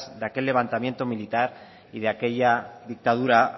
de aquel levantamiento militar y de aquella dictadura